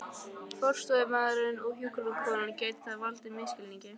forstöðumaðurinn og hjúkrunarkonan, gæti það valdið misskilningi.